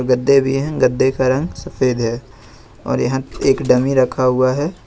गद्दे भी हैं गद्दे का रंग सफेद है और यहां एक डमी रखा हुआ है।